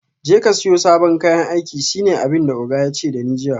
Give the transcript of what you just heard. Jeka siyo sabon kayan aiki shine abinda oga yace dani jiya